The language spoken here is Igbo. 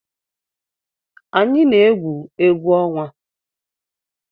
Anyị na-egwu egwu ọnwa.